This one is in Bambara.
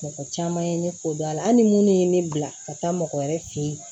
Mɔgɔ caman ye ne fo dɔn hali ni minnu ye ne bila ka taa mɔgɔ wɛrɛ fɛ yen